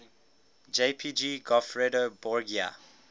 jpg goffredo borgia